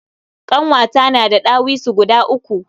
Ƙanwata na da ɗawisu guda uku.